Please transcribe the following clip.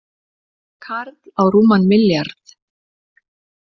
Karl á rúman milljarð